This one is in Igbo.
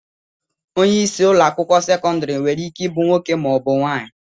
Onye isi ụlọakwụkwọ sekọndịrị nwereike ibu nwoke maọbụ nwaanyị